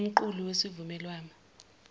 ngokomqulu wesivumelwano wama